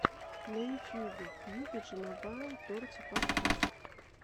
на ютубе пиюбиджи мобайл торти подкаст